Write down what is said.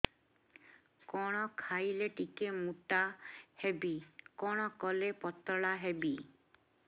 କଣ ଖାଇଲେ ଟିକେ ମୁଟା ହେବି କଣ କଲେ ପତଳା ହେବି